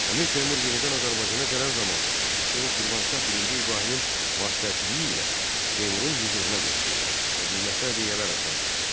Əmir Teymur yenidən Azərbaycana gələn zaman o Şirvanşah birinci İbrahimin vasitəçiliyi ilə Teymurun hüzuruna getdi və qiymətli hədiyyələr apardı.